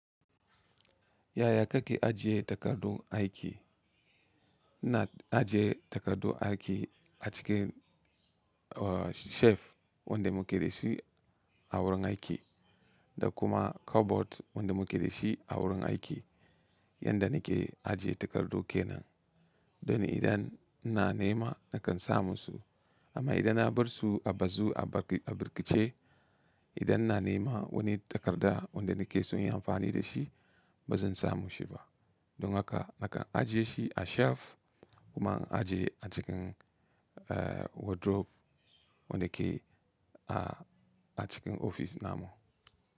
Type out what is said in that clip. Yaya kake ajiye takardun aiki? Ina ajiye takardu aiki a cikin, uh, shelf wanda muke dashi a wurin aiki da kuma cupboard wanda muke dashi a wurin aiki. Yanda nake ajiye takardu kenan. Don idan ina nema nakan samun su. Amma idan na barsu a bazu a bir-a birkice, idan na nema wani takarda wanda nake son yin amfani da shi bazan samu shiba. Don haka nakan ajiye shi a shelf kuma in ajiye a cikin, uh, wardrobe wanda ke a-a cikin ofis namu.